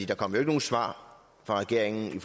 der kom jo ikke nogen svar fra regeringen